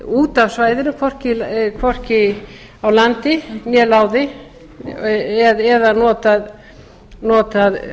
út af svæðinu hvorki á landi né láði eða notað